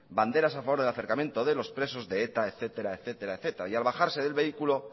banderas a favor del acercamiento de los presos de eta etcétera y al bajar del vehículo